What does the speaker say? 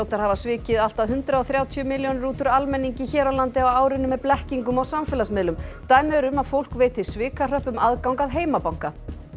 hafa svikið allt að hundrað og þrjátíu milljónir út úr almenningi hér á landi á árinu með blekkingum á samfélagsmiðlum dæmi eru um að fólk veiti svikahröppum aðgang að heimabanka